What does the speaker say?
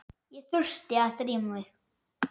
Ég þurfti að drífa mig.